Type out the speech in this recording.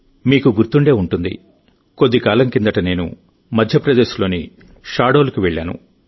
మీకు గుర్తుండే ఉంటుందికొద్దికాలం కిందట నేను మధ్యప్రదేశ్ లోని షాహడోల్కి వెళ్ళాను